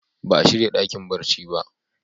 Ba a shirya dakin barci ba.